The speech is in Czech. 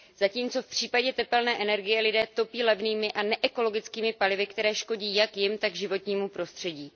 Zatímco v případě tepelné energie lidé topí levnými a neekologickými palivy, která škodí jak jim, tak životnímu prostředí.